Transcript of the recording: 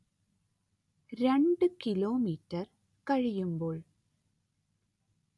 രണ്ട്‌ കിലോമീറ്റർ കഴിയുമ്പോൾ